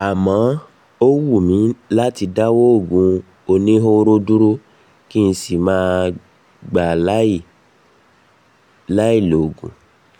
àmọ́ ó wù mí láti dáwọ́ òògùn oníhóró dúró kí n sì máa gbé láì um lòògùn